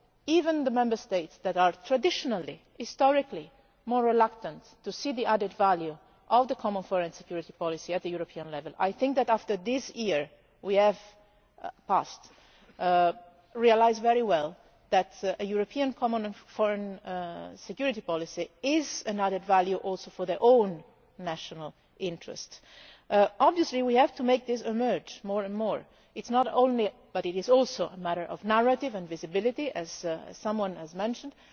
Even the Member States that are traditionally, historically more reluctant to see the added value of the common foreign and security policy at European level, I think after this past year have realised very well that a European common foreign and security policy is an added value also for their own national interests. Obviously we have to make this emerge more and more. It is not only but it is also a matter of narrative and visibility, as someone has mentioned.